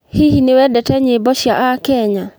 Hihi nĩ wendete nyĩmbo cia aakenya?